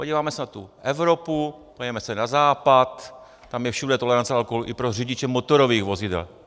Podíváme se na tu Evropu, podíváme se na Západ, tam je všude tolerance alkoholu i pro řidiče motorových vozidel.